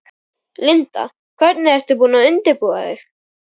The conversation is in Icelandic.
Linda: Hvernig ert þú búin að undirbúa þig?